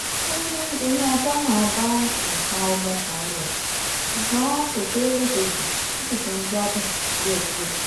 ó ní eyín ajá náà bá nǹkan ọmọkùnrin ẹ̀ ṣùgbọ́n kò ṣeé léṣe jù o sì ti ń gbádùn díẹ̀díẹ̀